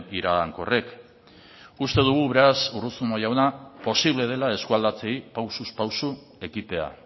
iragankorrek uste dugu beraz urruzuno jauna posible dela eskualdatzeei pausuz pausu ekitea